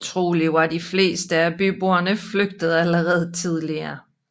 Trolig var de fleste af byboerne flygtet allerede tidligere